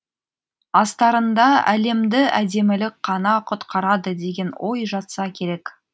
астарында әлемді әдемілік қана құтқарады деген ой жатса керек